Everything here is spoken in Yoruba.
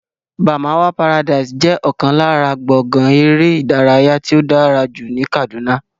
Barmawa paradise jẹ́ ọ̀kan lára gbọ̀ngán eré ìdárayá tí ó dára jù ní Kàdúná